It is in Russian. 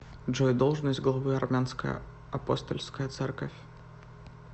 джой должность главы армянская апостольская церковь